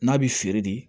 N'a bɛ feere de